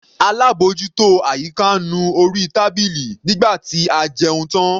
Alábòjútó àyíká nu orí tábìlì nígbà tí a jẹun tán.